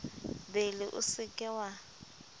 bele o se ke wa